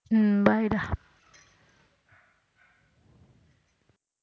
உம் bye டா